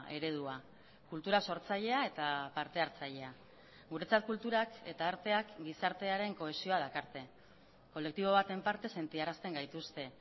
eredua kultura sortzailea eta partehartzailea guretzat kulturak eta arteak gizartearen kohesioa dakarte kolektibo baten parte sentiarazten gaituzte